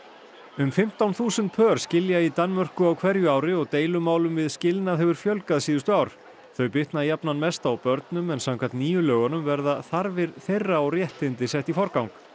um fimmtán þúsund pör skilja í Danmörku á hverju ári og deilumálum við skilnað hefur fjölgað síðustu ár þau bitna jafnan mest á börnum en samkvæmt nýju lögunum verða þarfir þeirra og réttindi sett í forgang